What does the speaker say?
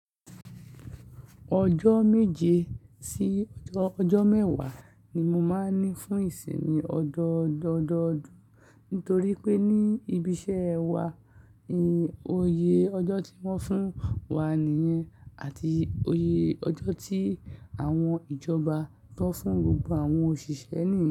Ọjọ́ méje sí ọjọ́ mẹ́wàá ni mo máa ń ní fún ìsinmi ọdọọdún, nítorí pé ní ibi iṣẹ́ wa, ó iyè ọjọ́ tí wọ́n fún wa nìyẹn àti iyè ọjọ́ tí àwọn ìjọba ti won fún gbogbo àwọn òṣìṣẹ́ nìyẹn.